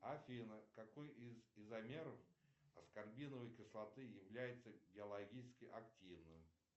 афина какой из изомеров аскорбиновой кислоты является биологически активным